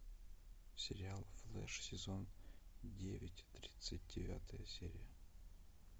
сериал флэш сезон девять тридцать девятая серия